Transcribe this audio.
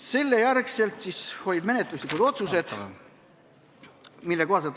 Selle järel võeti vastu menetluslikud otsused.